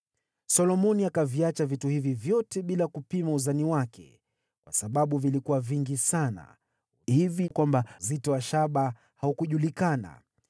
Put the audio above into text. Solomoni akaviacha vitu hivi vyote bila kupima uzani wake, kwa sababu vilikuwa vingi sana hivi kwamba uzito wa shaba haungekadirika.